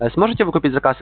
сможете выкупить заказ